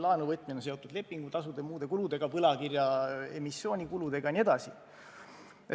Laenu võtmine on seotud lepingutasude ja muude kuludega, võlakirjaemissiooni kuludega jne.